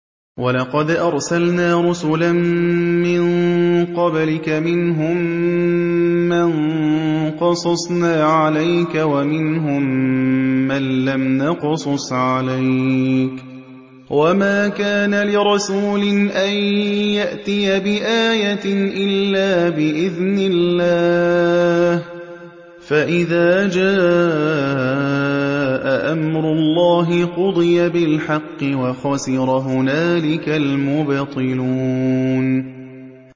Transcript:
وَلَقَدْ أَرْسَلْنَا رُسُلًا مِّن قَبْلِكَ مِنْهُم مَّن قَصَصْنَا عَلَيْكَ وَمِنْهُم مَّن لَّمْ نَقْصُصْ عَلَيْكَ ۗ وَمَا كَانَ لِرَسُولٍ أَن يَأْتِيَ بِآيَةٍ إِلَّا بِإِذْنِ اللَّهِ ۚ فَإِذَا جَاءَ أَمْرُ اللَّهِ قُضِيَ بِالْحَقِّ وَخَسِرَ هُنَالِكَ الْمُبْطِلُونَ